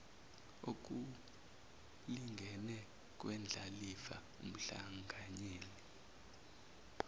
okulingene kwendlalifa umhlanganyeli